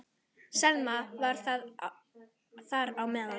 Selma var þar á meðal.